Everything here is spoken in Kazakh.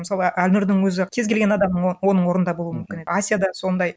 мысалы әлнұрдың өзі кез келген адамның оның орнында болуы мүмкін асяда сондай